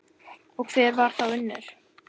Og hver var þá Unnur?